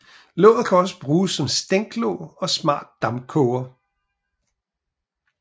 Låget kan også bruges som stænklåg og smart dampkoger